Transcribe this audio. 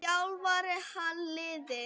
Þjálfar hann liðið?